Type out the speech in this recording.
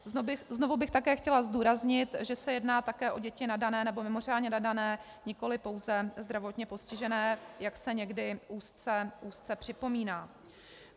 Znovu bych také chtěla zdůraznit, že se jedná také o děti nadané, nebo mimořádně nadané, nikoli pouze zdravotně postižené, jak se někdy úzce připomíná.